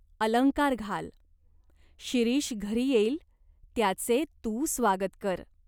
अलंकार घाल. शिरीष घरी येईल, त्याचे तू स्वागत कर.